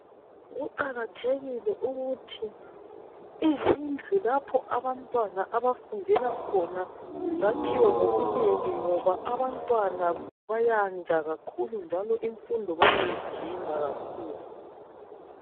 Kuqakathekile ukuthi izindlu lapho bantwana abafundela khona zakhiwe ngobunengi ngoba abantwana bayanda kakhulu njalo imfundo bayayidinga kakhulu.